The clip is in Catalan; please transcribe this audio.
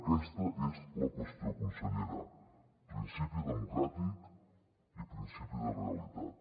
aquesta és la qüestió consellera principi democràtic i principi de realitat